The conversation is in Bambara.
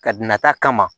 Ka na ta kama